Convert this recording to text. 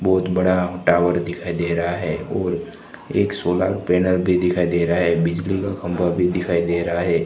बहोत बड़ा टावर दिखाई दे रहा है और एक सोलर पैनल भी दिखाई दे रहा है बिजली का खंबा भी दिखाई दे रहा है।